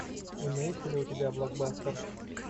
имеется ли у тебя блокбастер